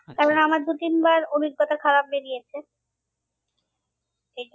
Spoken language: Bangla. আমার দু তিনবার অভিজ্ঞতা খারাপ বেরিয়েছে